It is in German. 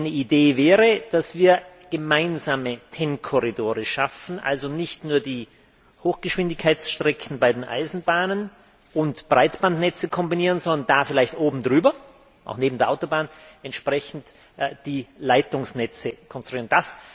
Eine Idee wäre, dass wir gemeinsame TEN Korridore schaffen, also nicht nur die Hochgeschwindigkeitsstrecken bei den Eisenbahnen und Breitbandnetze kombinieren, sondern da vielleicht oben drüber oder auch neben der Autobahn entsprechend Leitungsnetze konstruieren.